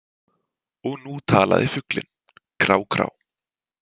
Og nú talaði fuglinn: Krá- krá.